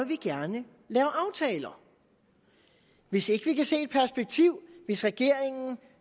vi gerne lave aftaler hvis ikke vi kan se et perspektiv hvis regeringen